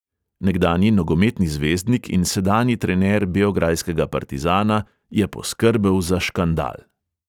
Nekdanji nogometni zvezdnik in sedanji trener beograjskega partizana je poskrbel za škandal.